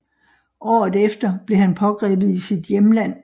Året efter blev han pågrebet i sit hjemland